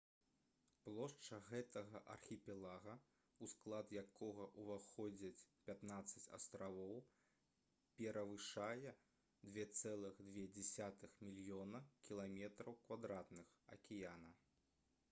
плошча гэтага архіпелага у склад якога ўваходзяць 15 астравоў перавышае 2,2 мільёна км² акіяна